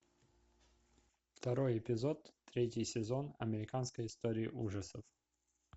второй эпизод третий сезон американская история ужасов